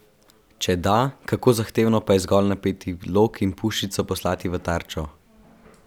Če da, kako zahtevno pa je zgolj napeti lok in puščico poslati v tarčo?